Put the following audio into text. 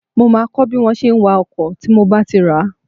Mó máa kọ́ bí wọn ṣe wa ọkọ̀ tí mo bá ti rà á